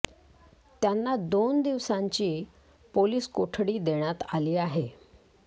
त्यांना दोन दिवसांची पोलिस कोठडी देण्यात आली आहे